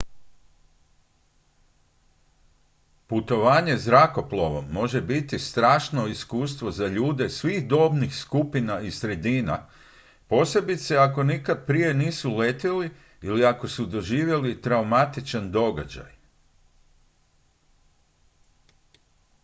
putovanje zrakoplovom može biti strašno iskustvo za ljude svih dobnih skupina i sredina posebice ako nikad prije nisu letjeli ili ako su doživjeli traumatičan događaj